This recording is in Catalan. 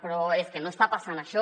però és que no està passant això